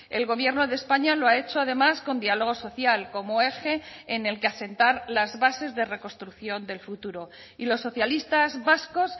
el gobierno de españa lo ha hecho además con diálogo social como eje en el que asentar las bases de reconstrucción del futuro y los socialistas vascos